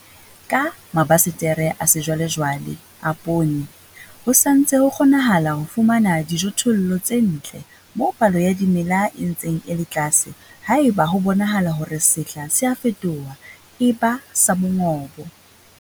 Ka mabasetere a sejwalejwale a poone, ho sa ntse ho kgonahala ho fumana dijothollo tse ntle moo palo ya dimela e ntseng e le tlase haeba ho bonahala hore sehla se a fetoha, e ba sa mongobo.